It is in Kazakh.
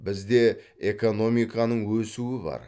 бізде экономиканың өсуі бар